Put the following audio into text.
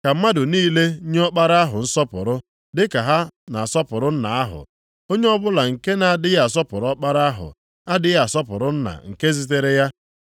Ka mmadụ niile nye Ọkpara ahụ nsọpụrụ dị ka ha na-asọpụrụ Nna ahụ. Onye ọbụla nke na-adịghị asọpụrụ Ọkpara ahụ adịghị asọpụrụ Nna nke zitere ya.